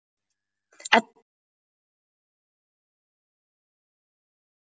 Edda liggur undir sæng og er ómótt.